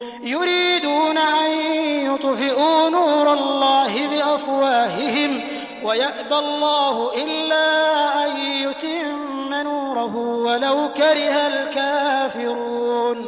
يُرِيدُونَ أَن يُطْفِئُوا نُورَ اللَّهِ بِأَفْوَاهِهِمْ وَيَأْبَى اللَّهُ إِلَّا أَن يُتِمَّ نُورَهُ وَلَوْ كَرِهَ الْكَافِرُونَ